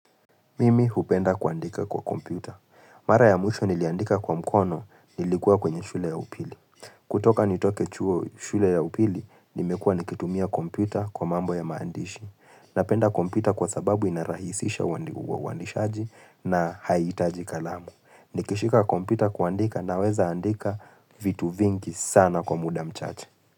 Mimi hupenda kuandika kwa kompyuta. Mara ya mwisho niliandika kwa mkono nilikua kwenye shule ya upili. Kutoka nitoke chuo shule ya upili, nimekua nikitumia kompyuta kwa mambo ya maandishi. Napenda kompyuta kwa sababu inarahisisha uandishaji na haihitaji kalamu. Nikishika kompyuta kuandika na weza andika vitu vingi sana kwa muda mchache.